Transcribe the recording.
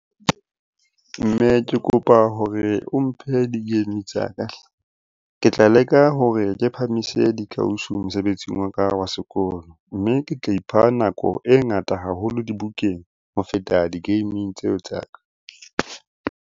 Mme ke kopa hore o mphe di-game tsa ka hle! Ke tla leka hore ke phahamise dikausi mosebetsing wa ka wa sekolo. Mme ke tla ipha nako e ngata haholo dibukeng ho feta di-gaming tseo tsa ka.